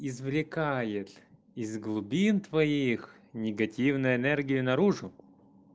извлекает из глубин твоих негативную энергию наружу